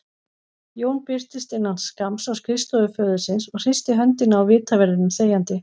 Jón birtist innan skamms á skrifstofu föður síns og hristi höndina á vitaverðinum þegjandi.